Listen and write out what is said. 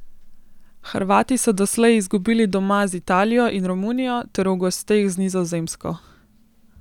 Hrvati so doslej izgubili doma z Italijo in Romunijo ter v gosteh z Nizozemsko.